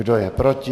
Kdo je proti?